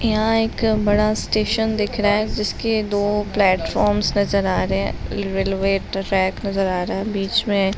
यहाँ एक बड़ा स्टेशन दिख रहा है जिसके दो प्लेटफॉर्म्स नजर आ रहे हैं। रेलवे ट्रैक नजर आ रहा है। बीच में --